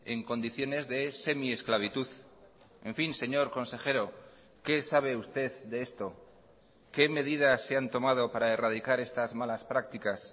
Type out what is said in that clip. en condiciones de semiesclavitud en fin señor consejero qué sabe usted de esto qué medidas se han tomado para erradicar estas malas prácticas